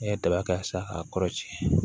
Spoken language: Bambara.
N'i ye daba k'a san k'a kɔrɔ tiɲɛ